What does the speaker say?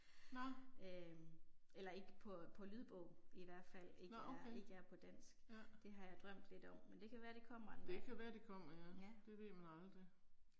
Nåh. Nåh okay, ja. Det kan være det kommer ja, det ved man aldrig